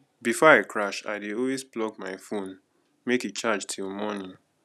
before i crash i dey always plug my phone make e charge till morning